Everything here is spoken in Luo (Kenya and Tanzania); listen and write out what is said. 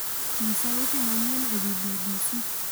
Nyisa weche manyien ewi b.b.c